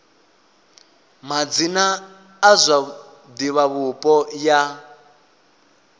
madzina a zwa divhavhupo ya